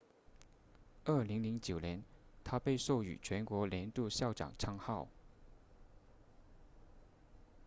2009年她被授予全国年度校长称号